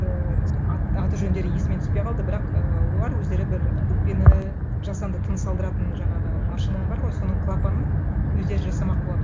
ііі аты жөндері есіме түспей қалды бірақ і олар өздері бір өкпені жасанды тыныс алдыратын жаңағы машина бар ғой соның клапанын өздері жасамақ болады